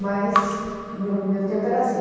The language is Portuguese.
Mas no meu tempo era assim.